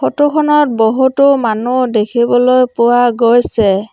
ফটোখনত বহুতো মানুহ দেখিবলৈ পোৱা গৈছে।